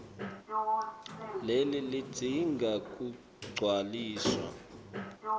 leli lidzinga kugcwaliswa